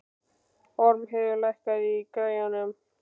Ormheiður, lækkaðu í græjunum.